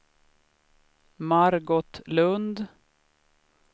Margot Lundh